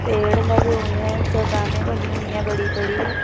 पेड़ लगे हुए हैं चट्टाने बनी हुई हैं बड़ी बड़ी।